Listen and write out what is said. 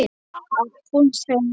Að hún sé ljón.